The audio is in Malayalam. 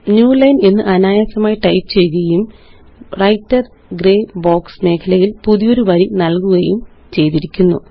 ന്യൂലൈൻ എന്ന് അനായാസമായി ടൈപ്പ് ചെയ്യുകയും വ്രൈട്ടർ ഗ്രേ ബോക്സ് മേഖലയില് പുതിയൊരു വരി നല്കുകയും ചെയ്തിരിക്കുന്നു